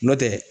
Nɔntɛ